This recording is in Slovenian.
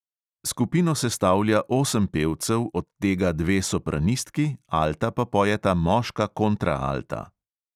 Skupino sestavlja osem pevcev, od tega dve sopranistki, alta pa pojeta moška kontraalta.